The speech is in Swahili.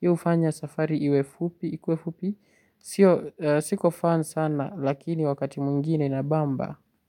Hii hufanya safari iwe fupi, siko fan sana, lakini wakati mwingine inabamba, Muzika.